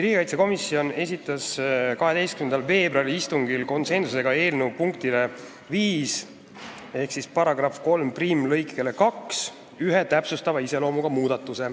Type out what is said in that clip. Riigikaitsekomisjon esitas 12. veebruari istungil eelnõu punkti 5 ehk § 31 lõike 2 kohta ühe täpsustava iseloomuga muudatuse,